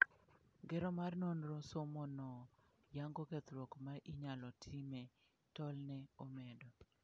Ngero mar nonro somono yango kethruok ma inyalo time tol" ne omedo.